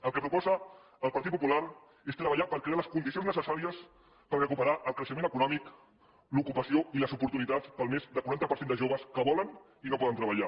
el que proposa el partit popular és treballar per crear les condicions necessàries per recuperar el creixement econòmic l’ocupació i les oportunitats per al més del quaranta per cent de joves que volen i no poden treballar